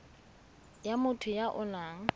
ya motho ya o nang